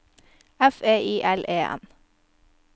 F E I L E N